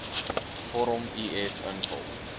vorm uf invul